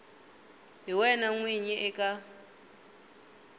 hi wena n winyi eka